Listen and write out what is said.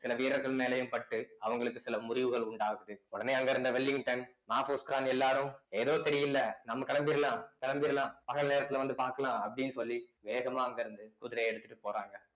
சில வீரர்கள் மேலேயும் பட்டு அவங்களுஉடனே க்கு சில முறிவுகள் உண்டாகுது அங்க இருந்த வெல்லிங்டன் மாபோஸ்கான் எல்லாரும் ஏதோ சரியில்ல நம்ம கிளம்பிடலாம் கிளம்பிடலாம் பகல் நேரத்துல வந்து பார்க்கலாம் அப்படின்னு சொல்லி வேகமா அங்க இருந்து குதிரையை எடுத்துட்டு போறாங்க